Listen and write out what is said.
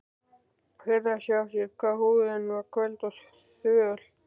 Furðaði sig á því hvað húðin var köld og þvöl.